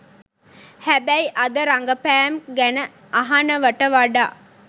හැබැයි අද රඟපෑම් ගැන අහනවාට වඩා